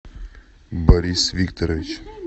борис викторович